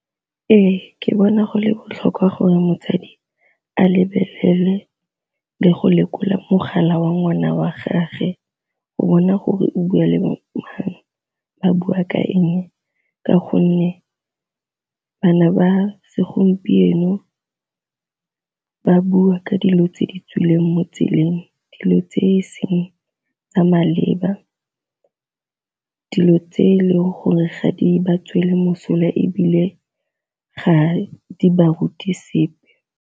Ee ke bona go le botlhokwa gore motsadi a lebelele le go lekola mogala wa ngwana wa gagwe go bona gore o bua le bo mang ba bua ka eng, ka gonne bana ba segompieno ba bua ka dilo tse di tswileng mo tseleng, dilo tse e seng tsa maleba, dilo tse e leng gore ga di ba tswele mosola ebile ga di ba ruti sepe.